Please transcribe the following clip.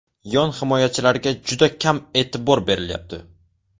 Yon himoyachilarga juda kam e’tibor berilyapti.